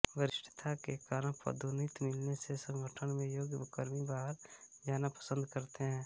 वरिष्ठता के कारण पदोन्नति मिलने से संगठन में योग्य कार्मिक बाहर जाना पसन्द करते है